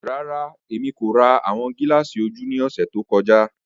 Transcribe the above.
Rara, Emi ko ra awọn gilaasi oju ni ọsẹ to kọja.